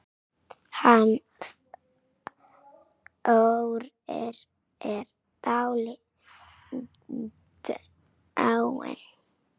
Hann Þórir er dáinn